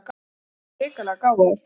Ég er svo hrikalega gáfaður.